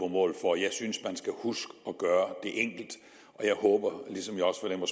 mål for jeg synes at man skal huske at gøre det enkelt og jeg håber ligesom jeg også fornemmer